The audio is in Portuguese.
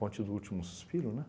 Ponte do Último Suspiro, né?